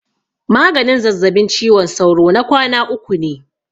Maganin zazzabin ciwon sauro na kwana uku ne.